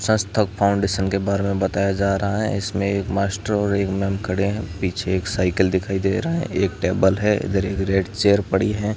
सस्तक foundation के बारे में बताया जा रहा है इसमें एक मास्टर और एक मैम खड़े है पीछे एक साइकिल दिखाई दे रहा है एक टेबल है इधरी एक रेड चेयर पड़ी है।